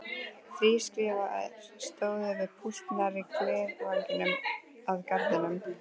Þrír skrifarar stóðu við púlt nærri glerveggnum að garðinum.